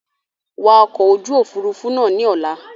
Wa ọkọ̀ ojú Òfurufú náà ni Ọ̀la!